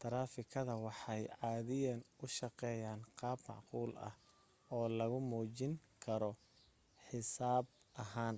taraafikada waxay caadiyan u shaqeeyan qaab macquul ah oo lagu muujin karo xisaab ahaan